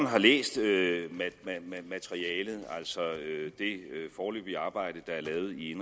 har læst materialet altså det foreløbige arbejde der er lavet i